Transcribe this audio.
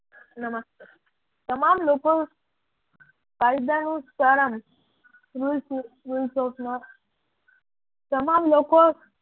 નમસ્કાર તમામ લોકોનું કાયદાનું સમરણ તમામ લોકો